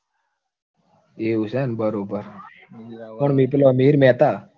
એવું છે એમ બરોબર પણ મીતલો, મિહિર મહેતા